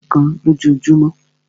Mí ò lè ṣà ì má mú pepsi kán lójúmọ́.